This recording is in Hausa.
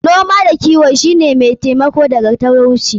Noma da kiwo shi ne mai taimako daga talauci.